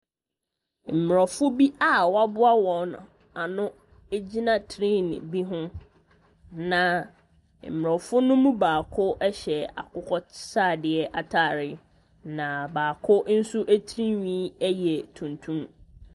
Mmorɔfo bi a wɔaboa wɔn ano gyina tree bi ho. Na mmorɔfo no mu baako ɛhyɛ akokɔsradeɛ ataare na baako tiri nhwi yɛ tuntum.